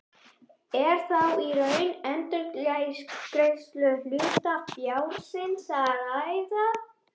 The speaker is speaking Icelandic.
Er þá í raun um endurgreiðslu hlutafjárins að ræða.